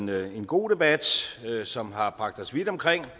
været en god debat som har bragt os vidt omkring